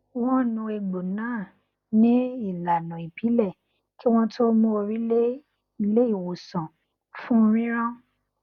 wọn nu egbò náà nin ìlànà ìbílẹ kí wọn tó mú orí lé ilé ìwòsàn fún rírán